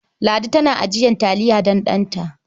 Ladi tana ajiyar taliya don ɗant.